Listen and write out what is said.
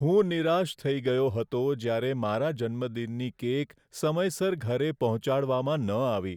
હું નિરાશ થઈ ગયો હતો જ્યારે મારા જન્મદિનની કેક સમયસર ઘરે પહોંચાડવામાં ન આવી.